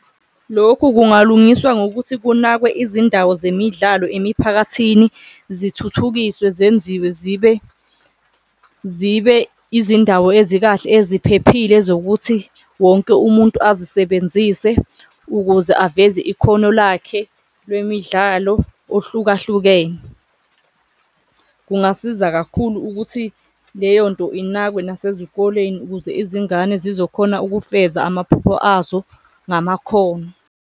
Lokhu kungalungiswa ngokuthi kunakwe izindawo zemidlalo emiphakathini zithuthukiswe, zenziwe zibe zibe izindawo ezikahle eziphephile zokuthi wonke umuntu azisebenzise ukuze aveze ikhono lakhe lwemidlalo ohlukahlukene. Kungasiza kakhulu ukuthi leyonto inakwe nasezikoleni ukuze izingane zizokhona ukufeza amaphupho azo ngamakhono.